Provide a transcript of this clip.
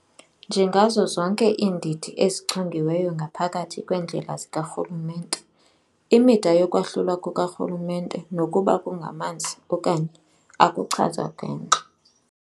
Njengazo zonke iindidi ezichongiweyo ngaphakathi kweendlela zikarhulumente, imida yokwahlulwa kukarhulumente nokuba kungamanzi okanye akuchazwa gwenxa.